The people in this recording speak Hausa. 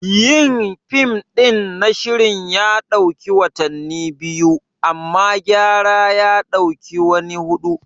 Yin fim ɗin na shirin ya ɗauki watanni biyu, amma gyara ya ɗauki wani hudu.